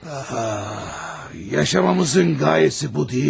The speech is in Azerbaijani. Yaşamağımızın qayəsi bu deyilmi?